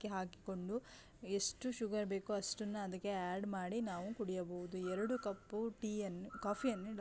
ಹಾಕಿಕೊಂಡು ಎಷ್ಟು ಶುಗರ್ ಬೇಕು ಅಷ್ಟನ ಅದ್ಕಕೆ ಆಡ್ ಮಾಡಿ ನಾವು ಕುಡಿಯಬಹುದು ಎರಡು ಕಪ್ ಟೀ ಯನ್ನು ಕಾಫೀ ಯನ್ನು --